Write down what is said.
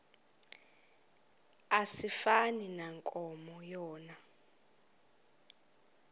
asifani nankomo yona